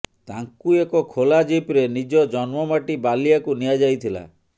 ତାଙ୍କୁ ଏକ ଖୋଲା ଜିପ୍ରେ ନିଜ ଜନ୍ମମାଟି ବାଲିଆକୁ ନିଆଯାଇଥିଲା